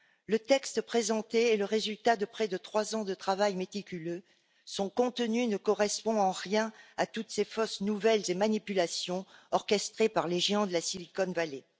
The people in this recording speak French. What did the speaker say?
Le texte présenté est le résultat de près de trois ans de travail méticuleux, son contenu ne correspond en rien à toutes ces fausses nouvelles et manipulations orchestrées par les géants de la Silicon Valley.